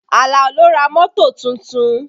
Alao ló ra mọ́tò tuntun